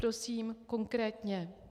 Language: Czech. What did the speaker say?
Prosím konkrétně.